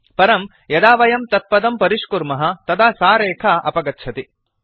परं यदा वयं तत्पदं परिष्कुर्मः तदा सा रेखा अपगच्छति